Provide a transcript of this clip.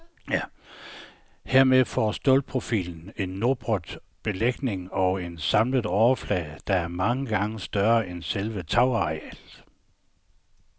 Herved får stålprofilen en nopret belægning og en samlet overflade, der er mange gange større end selve tagarealet.